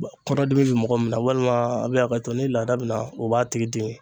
Kɔnɔdimi bɛ mɔgɔ min na walima a bɛ hakɛto ni laada bɛ na o b'a tigi dimi.